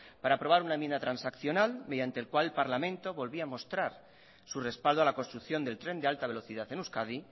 para aprobar una enmienda transaccional mediante el cual el parlamento volvía a mostrar su respaldo a la construcción del tren de alta velocidad en euskadi